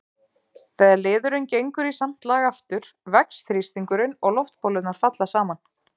Þegar liðurinn gengur í samt lag aftur vex þrýstingurinn og loftbólurnar falla saman.